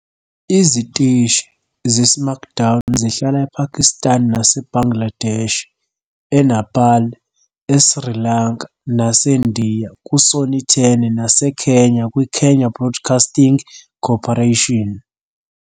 "Iziteshi" zeSmackDown zihlala ePakistan naseBangladesh, eNepal, eSri Lanka naseNdiya kuSony Ten naseKenya kwiKenya Broadcasting Corporation.